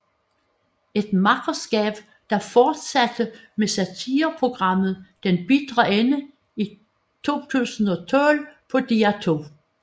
Et makkerskab der fortsatte med satireprogrammet Den Bitre Ende i 2012 på DR2